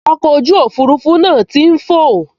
Ọkọ̀ ojú òfurufú náà tí n fọ̀